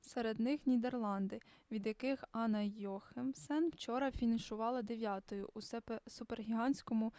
серед них нідерланди від яких анна йохемсен вчора фінішувала дев'ятою у супергігантському